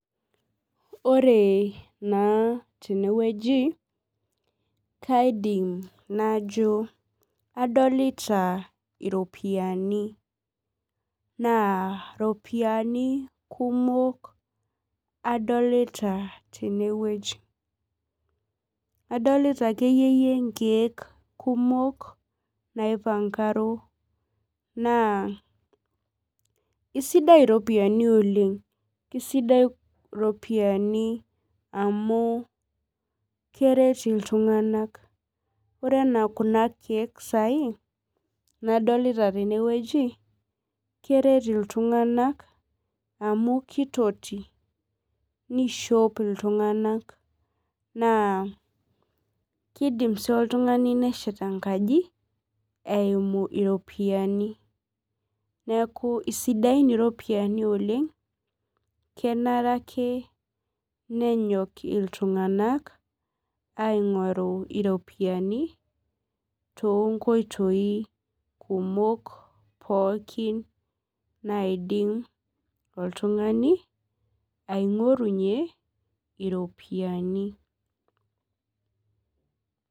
ore na ten eweuji, kaidim najo adolita iropiani, na iropiani kumok adolita ,tene weuji adolita akeyie inkek kumok naipangaro, na isidai iropiani oleng keisaidai iropiani amu keret iltunganak ore ena kuna keek sai nadolita tene weuji, keret iltunganak amu kitoti, nishop iltunganak, na kindim si oltungani neshet enkaji eimu iropiani, niaku kisidan iropiani oleng, kenare ake nenyok iltunganak aingoru iropiani tonkoitoi kumo, pooki naidim oltungani aingorunyie iropiani.